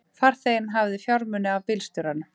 Farþeginn hafði fjármuni af bílstjóranum